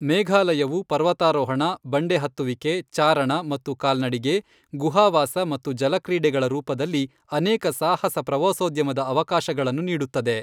ಮೇಘಾಲಯವು ಪರ್ವತಾರೋಹಣ, ಬಂಡೆ ಹತ್ತುವಿಕೆ, ಚಾರಣ ಮತ್ತು ಕಾಲ್ನಡಿಗೆ, ಗುಹಾವಾಸ ಮತ್ತು ಜಲಕ್ರೀಡೆಗಳ ರೂಪದಲ್ಲಿ ಅನೇಕ ಸಾಹಸ ಪ್ರವಾಸೋದ್ಯಮದ ಅವಕಾಶಗಳನ್ನು ನೀಡುತ್ತದೆ.